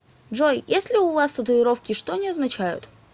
джой есть ли у вас татуировки и что они означают